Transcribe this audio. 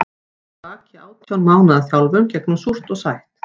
Ég hafði lagt að baki átján mánaða þjálfun gegnum súrt og sætt.